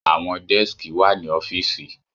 Àwọn dẹ́skì wà ní ọ́fìsì.